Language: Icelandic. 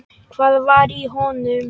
Hvað var í honum?